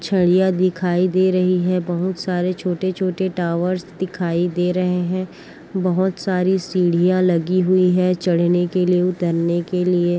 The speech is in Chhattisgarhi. छाड़िया दिखाई दे रही हैं बहोत सारे छोटे-छोटे टॉवर्स दिखाई दे रहे हैं बहोत सारी सीढ़ियां लगी हुई हैं चढ़ने के लिए उतरने के लिए--